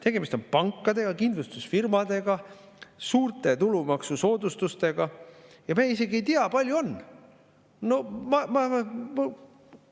Tegemist on pankade ja kindlustusfirmadega, suurte tulumaksusoodustustega, ja me isegi ei tea, kui on.